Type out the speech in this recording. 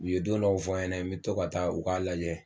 U ye don dɔw fɔ an ɲɛna me to ka taa u k'a lajɛ